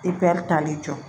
I bɛ taali jɔ